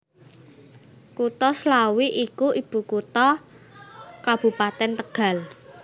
Kutha Slawi iku ibukutha Kabupatèn Tegal